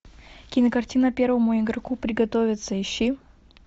кинокартина первому игроку приготовиться ищи